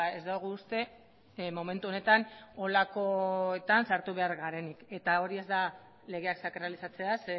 ez dugu uste momentu honetan horrelakoetan sartu behar garenik hori ez da legeak sakralizatzea